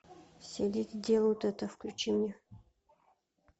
все леди делают это включи мне